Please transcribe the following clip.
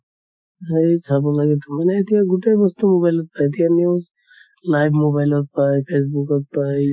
সেই চাব লাগে । মানে এতিয়া গোটেই বস্তু mobile ত চাই news, live mobile ত পাই facebook ত পাই